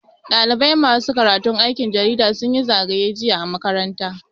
Ɗalibai masu karatun aikin jarida sun yi zagaye jiya a makaranta.